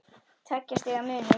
Tveggja stiga munur.